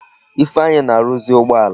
Ifeanyi na-arụzi ụgbọala.